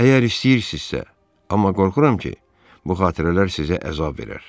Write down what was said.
Əgər istəyirsinizsə, amma qorxuram ki, bu xatirələr sizə əzab verər.